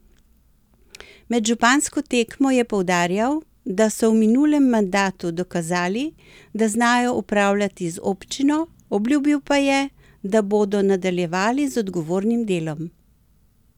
Med župansko tekmo je poudarjal, da so v minulem mandatu dokazali, da znajo upravljati z občino, obljubil pa je, da bodo nadaljevali z odgovornim delom.